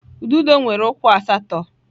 Ududo nwere ụkwụ asatọ.